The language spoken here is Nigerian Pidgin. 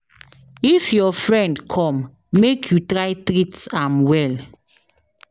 If your friend come, make you try treat am well.